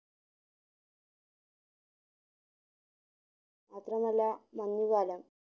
മാത്രമല്ല മഞ്ഞു കാലം